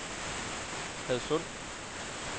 Hadsund